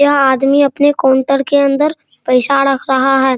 यह आदमी अपने काउंटर के अंदर पैसा रख रहा है।